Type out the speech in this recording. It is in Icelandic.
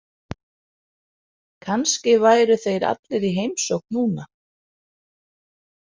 Kannski væru þeir allir í heimsókn núna.